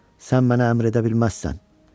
Sən mənə əmr edə bilməzsən."